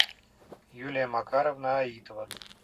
юлия макаровна аитова